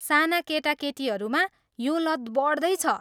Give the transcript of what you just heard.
साना केटाकेटीहरूमा यो लत बढ्दै छ।